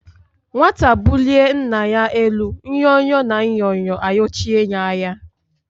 Nwata bulie Nna ya elu nyo-nyo na Nyo-nyo ayochie ya anya.